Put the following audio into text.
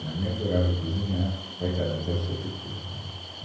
Minha mãe adorava cozinhar, coitada, mas ela sofreu para fazer aquele bolo.